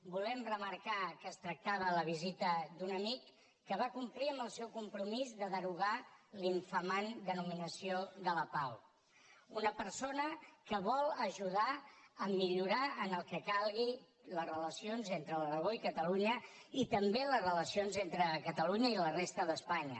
volem remarcar que es tractava de la visita d’un amic que va complir amb el seu compromís de derogar l’infamant denominació de lapao una persona que vol ajudar a millorar en el que calgui les relacions entre l’aragó i catalunya i també les relacions entre catalunya i la resta d’espanya